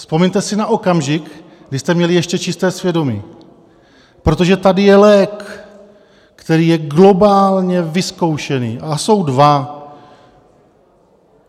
Vzpomeňte si na okamžik, kdy jste měli ještě čisté svědomí, protože tady je lék, který je globálně vyzkoušený, a jsou dva.